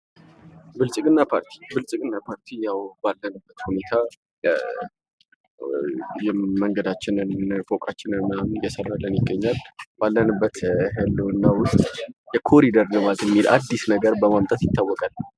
ብልጽግና ፓርቲ፦ ብልጽግና ፓርቲ ያው አሁን ባለንበት ሁኔታ መንገዳችንን ፎቃችንን ምናምን እየሰራንን ይገኛል። ባለንበት ሁኔታ ውስጥ የኮሪደር ልማት የሚባል አዲስ ነገር በማምጣት ይታወቃል።